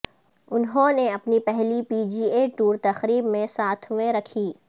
انہوں نے اپنی پہلی پی جی اے ٹور تقریب میں ساتویں رکھی